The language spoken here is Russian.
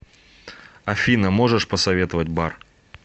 афина можешь посоветовать бар